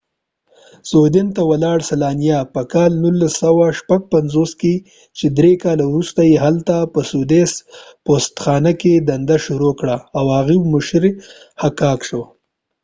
په 1956 کې slania سویدن ته ولاړ چې درې کاله وروسته یې هلته په سویدش پوستخانه کې دنده شروع کړه او د هغوۍ مشر حکاک شو